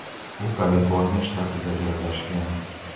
U Kaliforniya shtatida joylashgan.